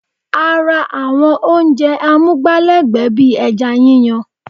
A ra àwọn oúnjẹ amúgbálẹ́gbẹ̀ẹ́ bíi ẹja yíyan